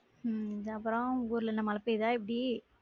உம் அப்ரோ உங்க ஊர்ல என்ன மழை பெய்தா எப்டி?